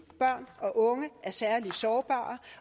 børn og unge er særlig sårbare